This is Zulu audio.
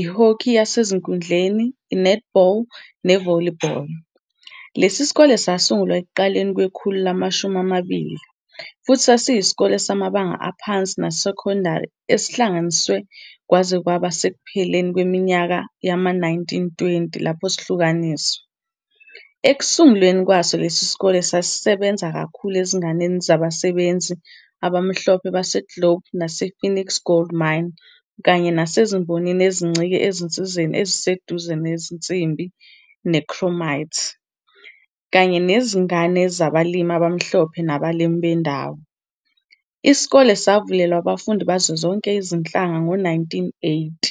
i-hockey yasenkundleni, i-netball ne-volleyball. Lesi sikole sasungulwa ekuqaleni kwekhulu lamashumi amabili, futhi sasiyisikole samabanga aphansi nasesekondari esihlanganisiwe kwaze kwaba ngasekupheleni kweminyaka yama-1920 lapho sihlukaniswa. Ekusungulweni kwaso lesi sikole sasisebenza kakhulu ezinganeni zabasebenzi abamhlophe baseGlobe nasePhoenix Gold Mine kanye nasezimbonini ezincike ezinsizeni eziseduze zensimbi ne- chromite, kanye nezingane zabalimi abamhlophe nabalimi bendawo. Isikole savulelwa abafundi bazo zonke izinhlanga ngo-1980.